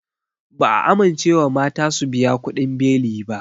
Ba'a amincewa mata su biya kuɗin beli ba